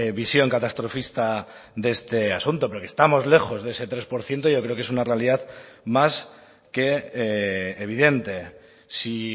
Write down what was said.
visión catastrofista de este asunto pero que estamos lejos de ese tres por ciento yo creo que es una realidad más que evidente si